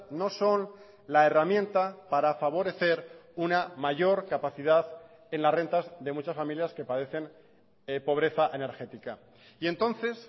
no son la herramienta para favorecer una mayor capacidad en las rentas de muchas familias que padecen pobreza energética y entonces